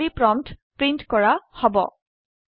খালী prompt print কৰা হব